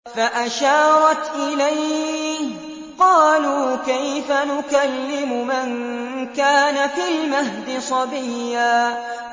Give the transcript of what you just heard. فَأَشَارَتْ إِلَيْهِ ۖ قَالُوا كَيْفَ نُكَلِّمُ مَن كَانَ فِي الْمَهْدِ صَبِيًّا